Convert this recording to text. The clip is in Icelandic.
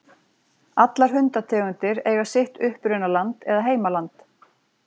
Allar hundategundir eiga sitt upprunaland eða heimaland.